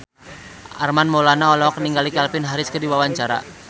Armand Maulana olohok ningali Calvin Harris keur diwawancara